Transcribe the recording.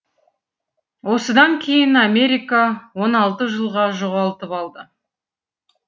осыдан кейін америка оны алты жылға жоғалтып алды